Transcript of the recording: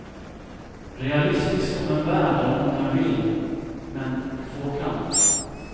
Realistiskt om en värld där många vill men få kan.